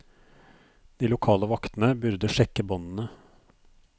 De lokale vaktene burde sjekke båndene.